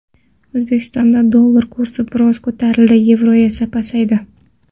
O‘zbekistonda dollar kursi biroz ko‘tarildi, yevro esa pasaydi.